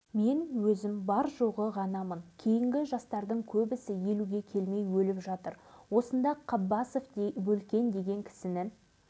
осыдан бес жылдай бұрын жап-жас жігіттер ағайынды қабыловтар осындай жағдаймен дүниеге кетті